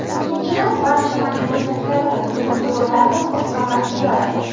Ikkinchidan, barcha majburiyatlarni, yugur-yugurlarni o‘z zimmasiga oladi.